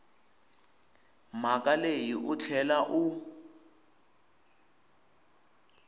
mhaka leyi u tlhela u